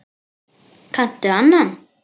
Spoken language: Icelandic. Kanntu annan?